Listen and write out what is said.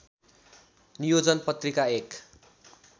नियोजन पत्रिका एक